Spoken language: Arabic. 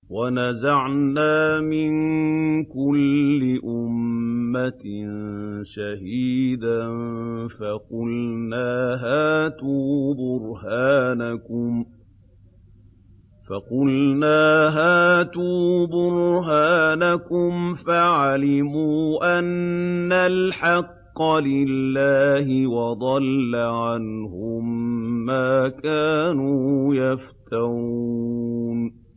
وَنَزَعْنَا مِن كُلِّ أُمَّةٍ شَهِيدًا فَقُلْنَا هَاتُوا بُرْهَانَكُمْ فَعَلِمُوا أَنَّ الْحَقَّ لِلَّهِ وَضَلَّ عَنْهُم مَّا كَانُوا يَفْتَرُونَ